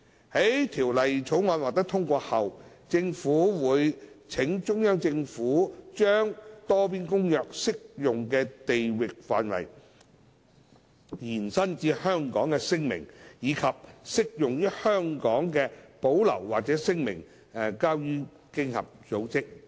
在《條例草案》獲通過後，政府會請中央政府把《多邊公約》適用的地域範圍延伸至香港的聲明，以及適用於香港的保留或聲明，交予經合組織。